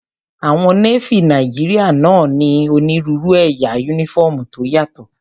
Àwọn Nééfì Nàìjíríyà náà ní onírúurú ẹ̀yà yúnífọ́ọ̀mù tó yàtọ̀